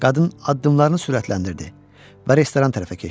Qadın addımlarını sürətləndirdi və restoran tərəfə keçdi.